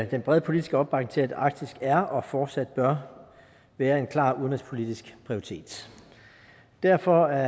den brede politiske opbakning til at arktis er og fortsat bør være en klar udenrigspolitisk prioritet derfor er